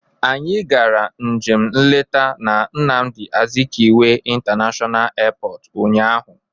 Anyị gara njem nleta na Nnamdị Azikiwe international airport unyaahụ.